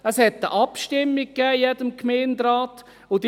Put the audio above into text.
Es gab in jedem Gemeinderat eine Abstimmung.